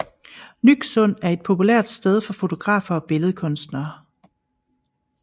Nyksund er et populært sted for fotografer og billedkunstnere